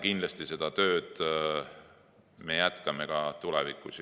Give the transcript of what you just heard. Kindlasti me seda tööd jätkame ka tulevikus.